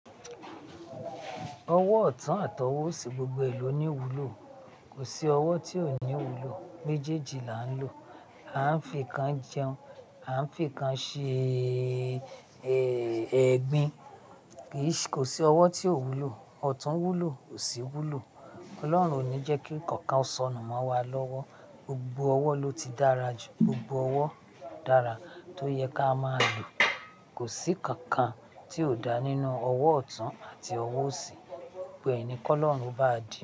Ọwọ́ ọ̀tún àtọwọ́ òsì, gbogbo ẹlò ni wúlò. Kò sí ọwọ́ tí ò ní wúlò, méjèèjì là ń lò. A ń fi kan jẹun, à ń fi kan ṣe, eh, ẹ̀gbin. Kì í ṣ-- kò sí ọwọ́ tí ò wúlò. Ọ̀tún wúlò, òsì wúlò. Ọlọ́run ò ní jẹ́kí kankan ó sọnù mọ́ wa lọ́wọ́. Gbogbo ọwọ́ ló ti dára jù. Gbogbo ọwọ́ dára tó yẹ ká máa lò. Kò sí kankan tí ò dá nínú ọwọ́ ọ̀tún àti ọwọ́ òsì. Bẹ́ẹ̀ ni Kọ́lọ́run bá di.